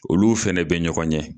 Olu fɛnɛ bɛ ɲɔgɔn ɲɛ.